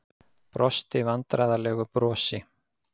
Brosti vandræðalegu brosi.